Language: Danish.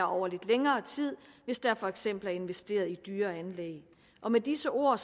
over længere tid hvis der for eksempel er investeret i dyre anlæg med disse ord